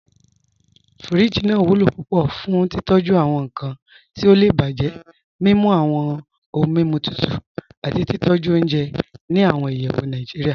Fíríjì naa wulo púpọ̀ fún títọ̀jú awọn nkan ti ó lè bájẹ, mimú awọn ọ̀hun mímú tutù, àti títọ̀jú ọ̀unjẹ́ ní awọn ìyẹ́wù Nàìjíríà.